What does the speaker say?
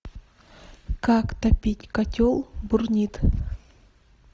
как топить котел бурнит